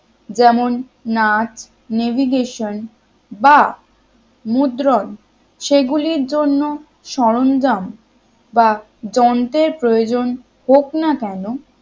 যেমন নাচ navigation বা মুদ্রণ সেগুলির জন্য সরঞ্জাম বা যন্ত্রের প্রয়োজন হোক না কেন